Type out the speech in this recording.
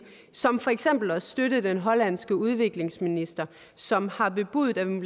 som for eksempel at støtte den hollandske udviklingsminister som har bebudet at man